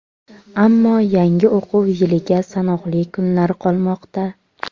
Ammo yangi o‘quv yiliga sanoqli kunlar qolmoqda.